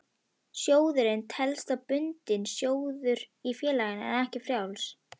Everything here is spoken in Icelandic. Sjóðurinn telst þá bundinn sjóður í félaginu en ekki frjáls.